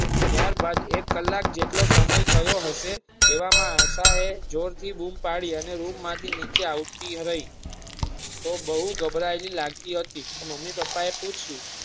ત્યાર બાદ એક કલાક જેટલો સમય થયો હશે એવા માં આશા એ જોર થી બૂમ પાડી અને રૂમ માંથી નીચે આવતી રહી તે બોવ ગભરાય હોઈ તેવી લગતી હતી તે મમ્મી પપા એ પૂછી યુ.